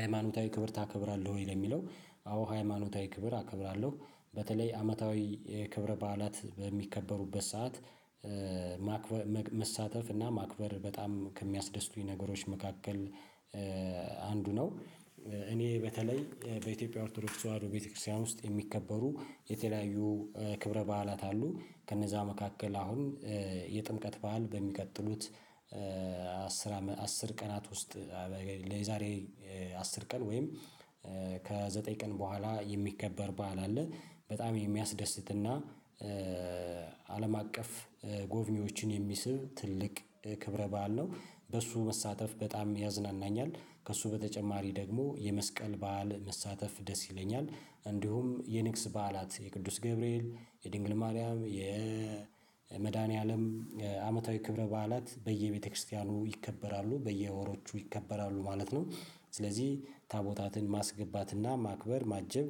ሃይማኖታዊ ክብር ታከብራለህ? ወይ ለሚለው አዎ ሃይማኖታዊ ክብር አከብራለሁ በተለይ አመታዊ የክብረ በዓላት በሚከበሩበት ሰዓት ማክበር መሳተፍ እና ማክበር በጣም ከሚያስደስቱኝ ነገሮች መካከል አንዱ ነው። እኔ በተለይ በኢትዮጵያ ኦርቶዶክስ ተዋህዶ ቤተክርስቲያን ውስጥ የሚከበሩ የተለያዩ ክብረ በዓላት አሉ። ከነዛ መካከል አሁን የጥምቀት በዓል በሚቀጥሉት አስር አስር ቀናት ውስጥ ለዛሬ አስር ቀን ወይም ከዘጠኝ ቀን በኋላ የሚከበር በዓል አለ። በጣም የሚያስደስትና አለም አቀፍ ጎብኚዎችን የሚስብ ትልቅ ክብረ በዓል ነው። በሱ መሳተፍ በጣም ያዝናናኛል። ከሱ በተጨማሪ ደግሞ የመስቀል በዓል መሳተፍ ደስ ይለኛል። እንዲሁም የንግስ በዓላት የቅዱስ ገብርኤል የድንግል ማርያም የመድኃኒዓለም አመታዊ ክብረ በዓላት በየቤተክርስቲያኑ ይከበራሉ በየወሮቹ ይከበራሉ ማለት ነው። ስለዚህ ታቦታትን ማስገባትና ማክበር ማጀብ።